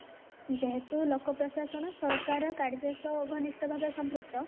ଯେହେତୁ ଲୋକ ପ୍ରଶାସନ ସରକାର ଓ କାର୍ଯ୍ୟ ସହ ଘନିଷ୍ଟ ଭାବେ ସମ୍ପୃକ୍ତ